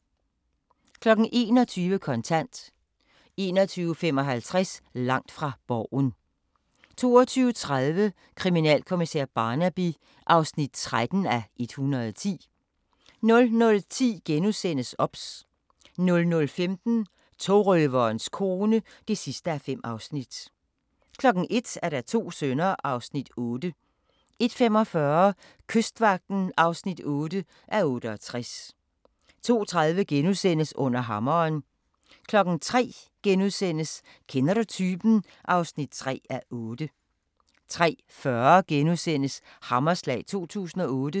21:00: Kontant 21:55: Langt fra Borgen 22:30: Kriminalkommissær Barnaby (13:110) 00:10: OBS * 00:15: Togrøverens kone (5:5) 01:00: To sønner (Afs. 8) 01:45: Kystvagten (8:68) 02:30: Under hammeren * 03:00: Kender du typen? (3:8)* 03:40: Hammerslag 2008 *